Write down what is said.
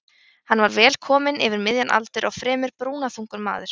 Hann var kominn vel yfir miðjan aldur og fremur brúnaþungur maður.